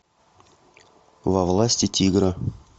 во власти тигра